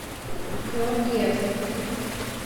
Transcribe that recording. георгиевск